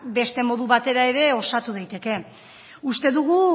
beste modu batera ere osatu daiteke uste dugu